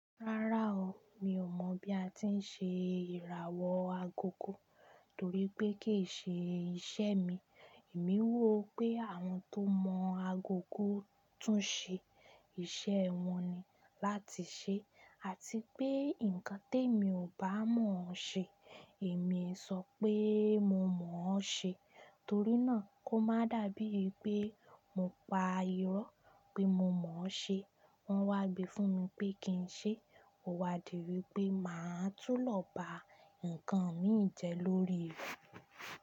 Rárá o, mi ò mọ̀ bí a ti ń ṣe ìràwọ̀ agogo torí pé kì í ṣe iṣẹ́ mi. Èmi wò pé àwọn tó mọ agogo tún ṣe iṣẹ́ wọn ni láti ṣe, àti pé nǹkan tí emi ò bá mọ̀ ọ́n ṣe, èmi ń sọ pé mo mọ̀ ọ́n ṣe. Torí náà kó má dàbí pé mo pa irọ́ pé mo mọ̀ ọ́n ṣe. Wọ́n wá gbe fún mi pé kí n ṣe, o wá di wipe màá tú lọ bá nǹkan mi jẹ lórí ìlú.